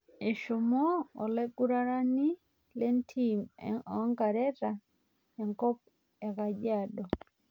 Eshomo olaiguranani le ntim onkareta enkop ekajiado